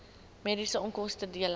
mediese onkoste dele